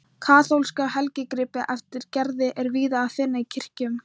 Kaþólska helgigripi eftir Gerði er víða að finna í kirkjum.